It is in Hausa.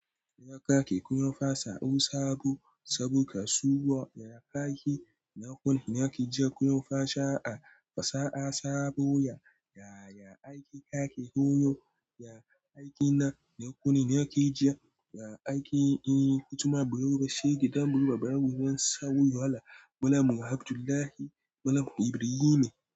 Ya kake kunya fasa'u sabo saboda suwa ya kaki. Na kunne nake ji kunya fasha a fasa'a sabo ya, ya, ya aiki kake koyo. Ya aiki na kunne nake ji, ya aiki in ku tuma biro bashe gidan buluba bayan gudan sawa wahala. Malam Abdulahi malam Ibrihi ne.